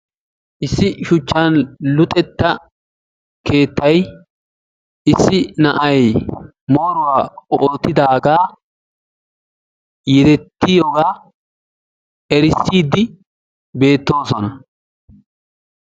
Issi shuchchan luxetta keettay issi na'ay moruwaa oottidaga yerettiyogaa erissidi beettoosona.